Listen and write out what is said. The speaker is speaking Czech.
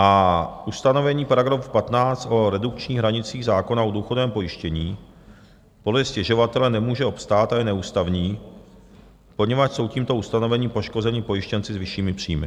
A ustanovení § 15 o redukčních hranicích zákona o důchodovém pojištění podle stěžovatele nemůže obstát a je neústavní, poněvadž jsou tímto ustanovením poškozeni pojištěnci s vyššími příjmy.